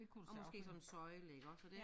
Og måske sådan en søjle iggås og det